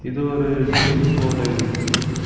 இது ஒரு ஜிம் போல இருக்கு.